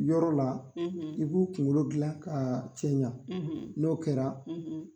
Yɔrɔ la; ; I b'u kungolo dilan ka cɛɲa; ; N'o kɛra;